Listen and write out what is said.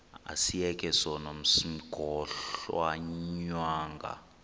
asiyeke sono smgohlwaywanga